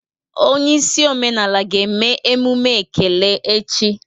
Onye isi omenala ga-eme emume ekele echi.